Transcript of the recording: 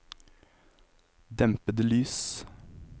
dempede lys